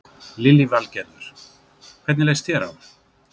Lillý Valgerður: Hvernig leist þér á?